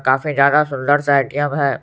काफी ज्यादा सुंदर सा ए_टी_एम है।